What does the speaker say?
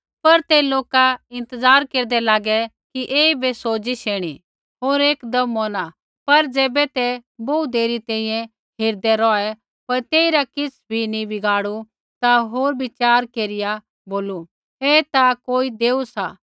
पर तै लोका इंतज़ार केरदै लागै कि ऐईबै सोजिस ऐणी होर एकदम मौरना पर ज़ैबै ते बोहू देरी तैंईंयैं हेरदै रौहै पर तेइरा किछ़ बी नी बिगड़ू ता होर विचार केरिया बोलू ऐ ता कोई देऊ सा